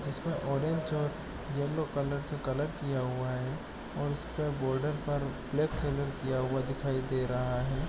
इसमें ऑडियंस जो yellow colour से कलर किया गया है और उसे पे बॉर्डर पर ब्लैक कलर किया गया है।